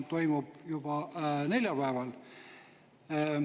Selle toimub juba neljapäeval.